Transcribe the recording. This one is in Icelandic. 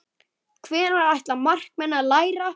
Hvenær ætla markmenn að læra?